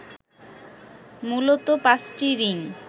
মূলত পাঁচটি রিং